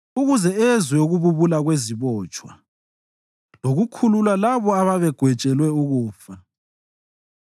ukuze ezwe ukububula kwezibotshwa lokukhulula labo ababegwetshelwe ukufa.”